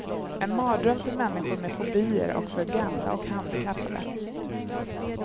En mardröm för människor med fobier och för gamla och handikappade.